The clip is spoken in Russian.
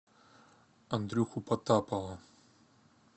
андрюху потапова